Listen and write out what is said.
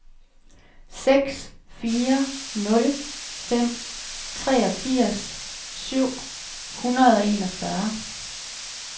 seks fire nul fem treogfirs syv hundrede og enogfyrre